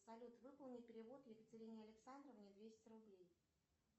салют выполни перевод екатерине александровне двести рублей